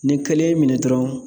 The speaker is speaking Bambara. Ni kelen y'i minɛ dɔrɔn